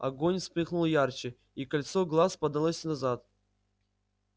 огонь вспыхнул ярче и кольцо глаз подалось назад